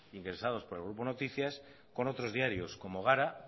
ingresados por el grupo noticias con otros diarios como gara